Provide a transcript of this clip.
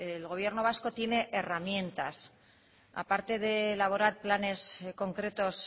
el gobierno vasco tiene herramientas a parte de elaborar planes concretos